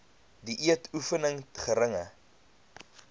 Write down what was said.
dieet oefening geringe